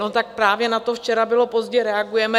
No tak právě na to "včera bylo pozdě" reagujeme.